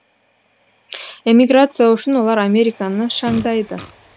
эмиграция үшін олар американы шаңдайды